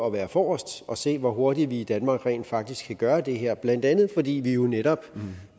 at være forrest og se hvor hurtigt vi i danmark rent faktisk kan gøre det her blandt andet fordi vi jo netop